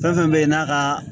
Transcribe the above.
Fɛn fɛn bɛ yen n'a ka